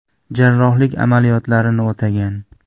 Jarrohlik amaliyotlarini o‘tagan.